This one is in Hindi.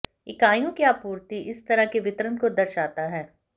इकाइयों की आपूर्ति इस तरह के वितरण को दर्शाता है